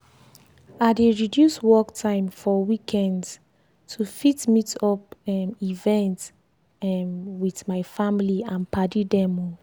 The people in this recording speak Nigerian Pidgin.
i dey reduce work time for weekends to fit meet up um events um with my family and padi dem. um